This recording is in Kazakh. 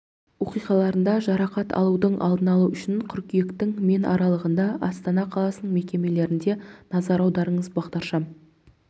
оқиғаларында жарақат алудың алдын алу үшін қыркүйектің мен аралығында астана қаласының мектептерінде назар аударыңыз бағдаршам